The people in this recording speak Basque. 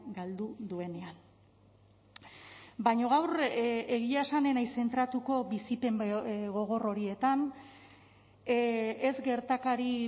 galdu duenean baina gaur egia esan ez naiz zentratuko bizipen gogor horietan ez gertakari